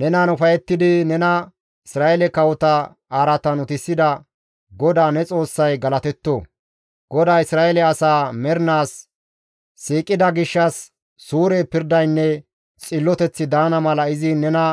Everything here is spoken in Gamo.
Nenan ufayettidi nena Isra7eele kawota araatan utisida GODAA ne Xoossay galatetto! GODAY Isra7eele asaa mernaas siiqida gishshas suure pirdaynne xilloteththi daana mala izi nena